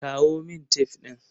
Kawo min tef ɗin.